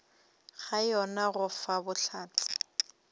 ga yona go fa bohlatse